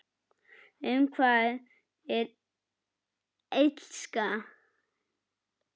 Um hvað er Illska?